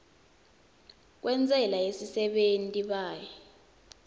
kwentsela yesisebenti paye